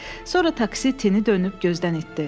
Sonra taksi tini dönüb gözdən itdi.